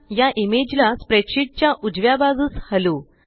या इमेज ला स्प्रेडशीट च्या उजव्या बाजूस हलवू